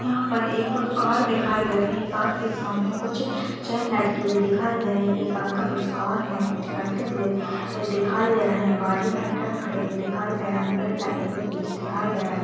यहाँ पर एक कार दिखाई दे रही कार के सामने कुछ चैन लटकी हुई दिखाई दे रही एक अंकल उस कार में कुछ करते हुए दिखाई दे रहे है बाजु में ट्रक खड़ी हुई दिखाई दे रहे पेड़ लगे हुए पीछे दिखाई दे रहे।